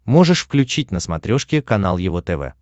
можешь включить на смотрешке канал его тв